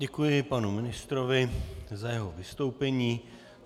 Děkuji panu ministrovi za jeho vystoupení.